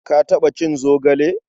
Ka taɓa cin zogale?